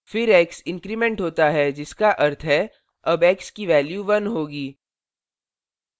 फिर x increment होता है जिसका अर्थ है अब x की value 1 होगी